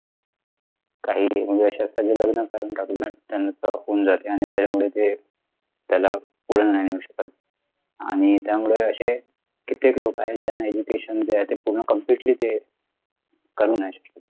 काही म्हणजे अश्या कि ज्यांना विनाकारण त्यांचे होऊन जाते आणि त्याच्यामुळे ते त्याला ते पुढे नाही नेऊ शकत आणि त्यामुळे अशे कित्येक लोक आहेत ज्यांना education जे आहे ते पूर्ण completely ते करू नाही शकत